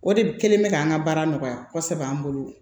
O de kɛlen bɛ k'an ka baara nɔgɔya kosɛbɛ an bolo